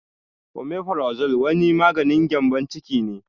Omeferazole wani maganin gƴambon ciki ne